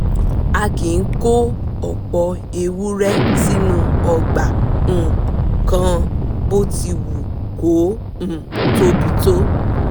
a kì kó ọ̀pọ̀ ewúrẹ́ sínú ọgbà um kan bó ti wù kó um tóbi tó